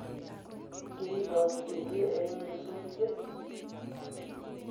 kiibot kelie eng nyasutiet